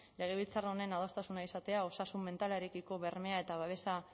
legebiltzar honen adostasuna izatea osasun mentalarekiko bermea eta babesa